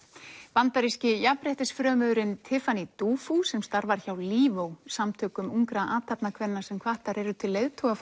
bandaríski jafnréttisfrömuðurinn Tiffany Dufu sem starfar hjá samtökum ungra athafnakvenna sem hvattar eru til